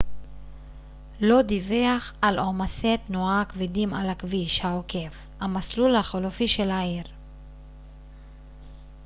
לא דווח על עומסי תנועה כבדים על הכביש העוקף המסלול החלופי של העיר